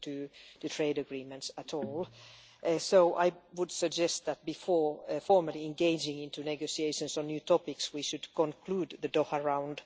in trade agreements at all, so I would suggest that before formally engaging in negotiations on new topics we should conclude the Doha Round.